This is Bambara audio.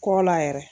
Kɔ la yɛrɛ